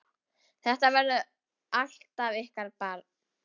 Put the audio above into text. Þetta verður alltaf ykkar barn!